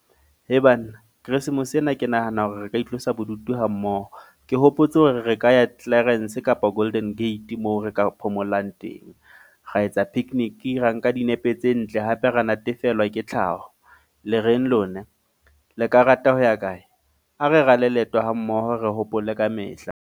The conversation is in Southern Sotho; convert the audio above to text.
He banna. Christmas ena ke nahana hore re ka itlosa bodutu ha mmoho. Ke hopotse hore re re ka ya Clarens kapa Golden Gate, moo re ka phomolang teng. Ra etsa picnic ra nka dinepe tse ntle hape ra natefelwa ke tlhaho. Le reng lona? Le ka rata ho ya kae? A re rale leeto ha mmoho re hopole kamehla.